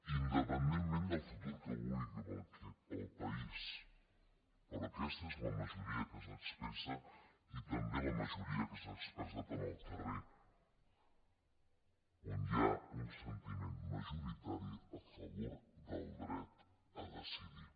independentment del futur que vulgui per al país però aquesta és la majoria que s’expressa i també la majoria que s’ha expressat en el carrer on hi ha un sentiment majoritari a favor del dret a decidir